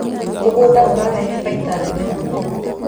Mũgũnda ũrehaga baita nene mũno